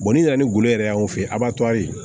ni nana ni golo yɛrɛ y'an fɛ yen a' b'a to ayi